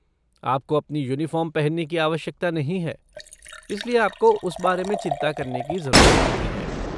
आपको अपनी यूनिफ़ॉर्म पहनने की आवश्यकता नहीं है, इसलिए आपको उस बारे में चिंता करने की ज़रूरत नहीं है।